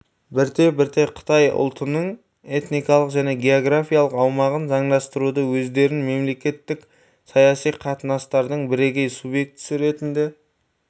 бірте-бірте қытай ұлтының этникалық және географиялық аумағын заңдастыруды өздерін мемлекеттік саяси қатынастардың бірегей субъектісі ретінде